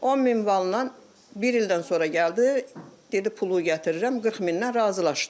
10000 manatdan bir ildən sonra gəldi, dedi pulu gətirirəm 40000-dən razılaşdıq.